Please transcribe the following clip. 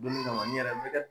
Don ni kama n yɛrɛ bɛ